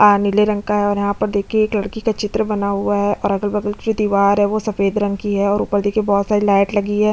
अअअ नीले रंग का है और यहाँ पर देखिये एक लड़की का चित्र बना हुआ है और अगल-बगल की दीवार है वो सफेद रंग की है और ऊपर देखिये बोहत सारी लाइट लगी है।